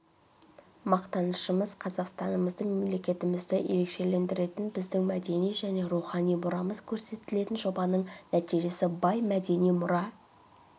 мақтанышымыз қазақстанымызды мемлекетімізді ерекшелендіретін біздің мәдени және рухани мұрамыз көрсетілген жобаның нәтижесі бай мәдени мұра